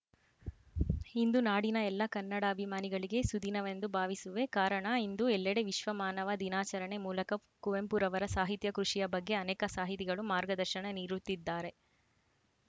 ಇಂದು ನಾಡಿನ ಎಲ್ಲ ಕನ್ನಡಾಭಿಮಾನಿಗಳಿಗೆ ಸುದಿನವೆಂದು ಭಾವಿಸುವೆ ಕಾರಣ ಇಂದು ಎಲ್ಲೆಡೆ ವಿಶ್ವಮಾನವ ದಿನಾಚರಣೆ ಮೂಲಕ ಕುವೆಂಪುರವರ ಸಾಹಿತ್ಯ ಕೃಷಿಯ ಬಗ್ಗೆ ಅನೇಕ ಸಾಹಿತಿಗಳು ಮಾರ್ಗದರ್ಶನ ನೀಡುತ್ತಿದ್ದಾರೆ